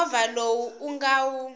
movha lowu u nga wu